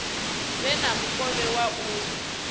vhe na mukovhe wa u